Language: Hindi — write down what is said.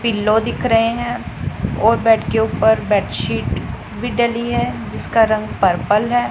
पिलो दिख रहे हैं और बेड के ऊपर बेडशीट भी डाली है जिसका रंग पर्पल है।